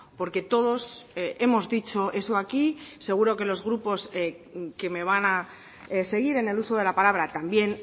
porque todos hemos dicho eso aquí seguro que los grupos que me van a seguir en el uso de la palabra también